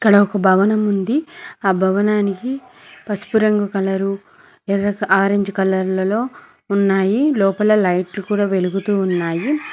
ఈడ ఒక భవనం ఉంది ఆ భవనానికి పసుపు రంగు కలరు ఎర్ర కల ఆరెంజ్ కలర్ల లో ఉన్నాయి లోపల లైట్లు కూడా వెలుగుతూ ఉన్నాయి.